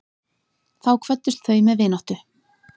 Þá kvöddust þau með vináttu.